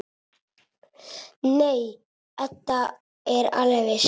Nei, Edda er alveg viss.